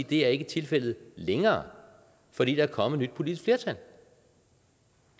det er ikke tilfældet længere fordi der er kommet et nyt politisk flertal